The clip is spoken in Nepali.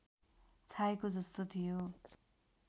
छाएको जस्तो थियो